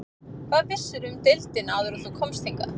Hvað vissirðu um deildina áður en þú komst hingað?